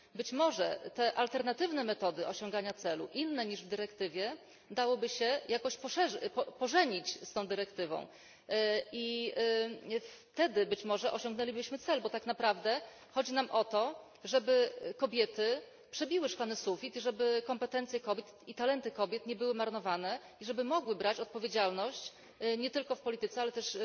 Być może te alternatywne metody osiągania celu, inne niż w dyrektywie, dałoby się jakoś pożenić z tą dyrektywą i wtedy być może osiągnęlibyśmy cel, bo tak naprawdę chodzi nam o to, żeby kobiety przebiły szklany sufit, żeby kompetencje kobiet i talenty kobiet nie były marnowane i żeby kobiety mogły brać odpowiedzialność za efekty pracy nie tylko w polityce, ale też